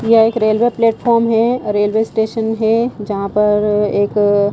यह एक railway platform है और रेलवे स्टेशन है जहां पर एक--